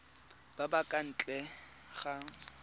ba ba kwa ntle ga